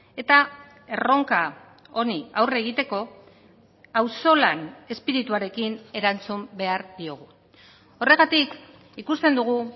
eta erronka honi aurre egiteko auzolan espirituarekin erantzun behar diogu horregatik ikusten dugu